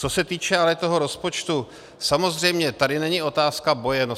Co se týče ale toho rozpočtu, samozřejmě tady není otázka boje.